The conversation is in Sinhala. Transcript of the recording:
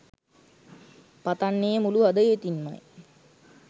පතන්නේ මුලු හදවතින්මයි